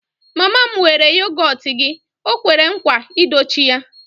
Mama m weere yogọt gị, o kwere nkwa I dochie ya